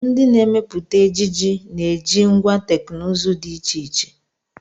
Ndị na-emepụta ejiji na-eji ngwá teknụzụ dị iche iche.